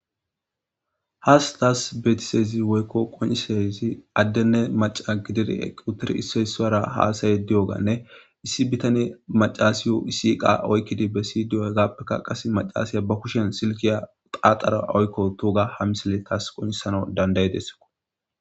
has taas beetisezi woykko qonisayzi addenne maca gidir equtir isseysara haasaye diyoganne issi bitani macaasiyo isiqa oykkidi bessi diyogappekka qas macaasiya ba kushen silkiya qaaxara oykko tuga ha misile taas qoncisano dandayidessko